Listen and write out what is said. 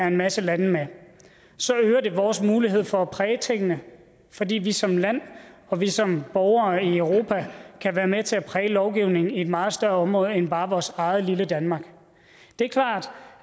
en masse lande er med så øger det vores mulighed for at præge tingene fordi vi som land og vi som borgere i europa kan være med til at præge lovgivningen inden for et meget større område end bare vores eget lille danmark det er klart